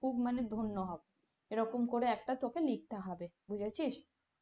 খুব মানে ধন্য হবে এরকম করে একটা তোকে লিখতে হবে বুঝেছিস।